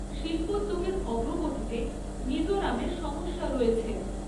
শিল্পোদ্যোগের অগ্রগতিতে মিজোরামের সমস্যা রয়েছে।